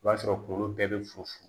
O b'a sɔrɔ kuŋolo bɛɛ be fu funu